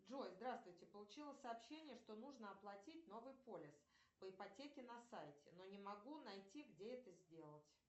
джой здравствуйте получила сообщение что нужно оплатить новый полис по ипотеке на сайте но не могу найти где это сделать